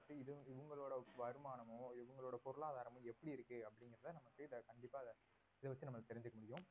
இது இவங்களோட வருமானமோ இவங்களோட பொருளாதாரமோ எப்படி இருக்கு அப்படிங்கறத நமக்கு கண்டிப்பா இத வச்சு நாம தெரிஞ்சுக்க முடியும்